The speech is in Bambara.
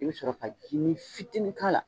I bɛ sɔrɔvka ka ji fitinin k'a la